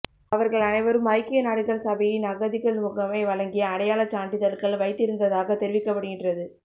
அவர்கள் அனைவரும் ஐக்கிய நாடுகள் சபையின் அகதிகள் முகமை வழங்கிய அடையாளச் சான்றிதழ்கள் வைத்திருந்ததாக தெரிவிக்கப்படுகின்றது